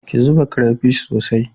Ki zuba crayfish sosai